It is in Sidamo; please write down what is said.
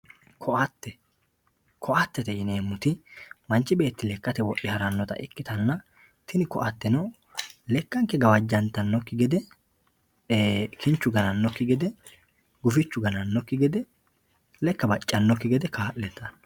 ko"atte ko"attete yineemmoti manchi beetti lekkate wodhe harannota ikkitanna tini ko"atteno lekkanke gawajjannore kinchu ganannannokki gede gufichu ganannokki gede gawajjannokki gede kaa'litannote